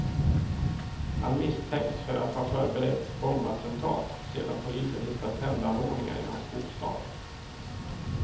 Han misstänks för att ha förberett bombattentat, sedan polisen hittat tändanordningar i hans bostad.